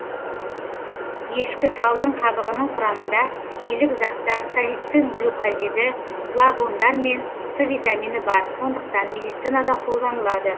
ешкіталдың қабығының құрамында илік заттар салицин глюкозиді флавондар мен с витамині бар сондықтан медицинада қолданылады